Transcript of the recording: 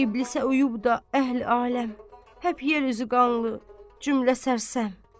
İblisə uyub da əhli-ailəm həp yer üzü qanlı, cümlə sərsəm.